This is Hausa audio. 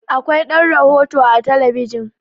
Akwai ɗan rohoto a talabijin